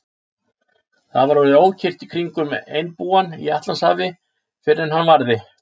Það var orðið ókyrrt í kringum einbúann í Atlantshafi, fyrr en hann varði.